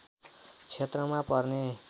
क्षेत्रमा पर्ने